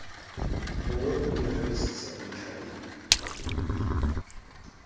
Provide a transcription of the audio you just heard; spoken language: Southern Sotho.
mongodi o nahanisisa ntlha e